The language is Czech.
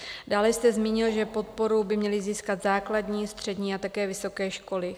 Dále jste zmínil, že podporu by měly získat základní, střední a také vysoké školy.